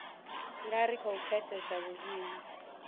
nga ri khou pfesesa vhuimo